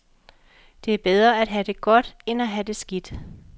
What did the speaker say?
Det er bedre at have det godt end at have det skidt.